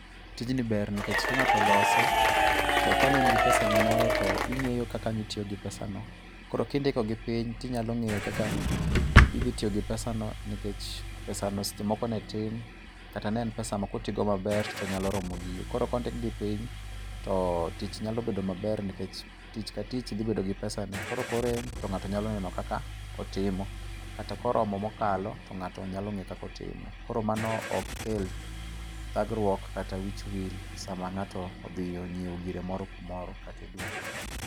Tijni ber nikech ka ng'ato olose to kane in gi pesani moro to ing'eyo kaka inya tiyo gi pesano. Koro kindikogi piny to inyalo ng'eyo kaka idhi tiyo gi pesano. Nikech pesano seche moko ne tin, kata ne en pesa makotigo maber to nyalo romo gigo. Koro kondikgi piny to tich nyalo bedo maber nikech tich ka tich dhi bedo gi pesane. Koro korem to ng'ato nyalo neno kaka otimo. Kata koromo mokalo to ng'ato nyalo ng'eyo kaka otimo. Koro mano ok kel ghagruok kata wich wil sama ng'ato odhi ng'iewo gire moro kata e duka.